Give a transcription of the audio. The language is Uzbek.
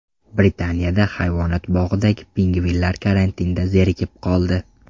Britaniyada hayvonot bog‘idagi pingvinlar karantinda zerikib qoldi.